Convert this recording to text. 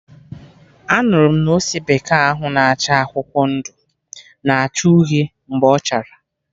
Anụrụ m na ose bekee ahụ na acha akwụkwọ ndụ, na acha uhie mgbe ọchara